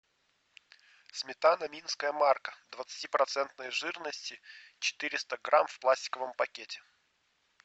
сметана минская марка двадцатипроцентной жирности четыреста грамм в пластиковом пакете